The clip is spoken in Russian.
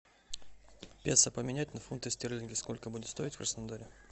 песо поменять на фунты стерлинги сколько будет стоить в краснодаре